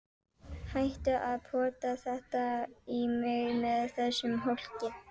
Hættu að pota þetta í mig með þessum hólki!